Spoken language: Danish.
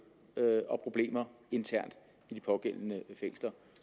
og problemer internt i de pågældende fængsler